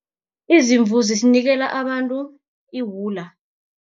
Izimvu zisinikela abantu iwula.